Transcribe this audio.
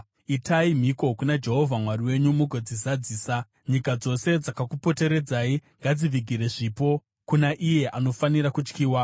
Itai mhiko kuna Jehovha Mwari wenyu mugodzizadzisa; nyika dzose dzakakupoteredzai ngadzivigire zvipo kuna Iye anofanira kutyiwa.